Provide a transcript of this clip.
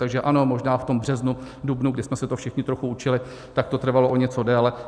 Takže ano, možná v tom březnu, dubnu, kdy jsme se to všichni trochu učili, tak to trvalo o něco déle.